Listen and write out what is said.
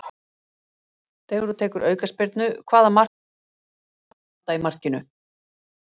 Þegar þú tekur aukaspyrnu, hvaða markmann viltu síst láta standa í markinu?